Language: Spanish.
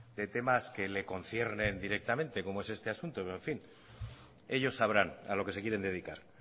de temas que le conciernen directamente como es este asunto pero en fin ellos sabrán a lo que se quieren dedicar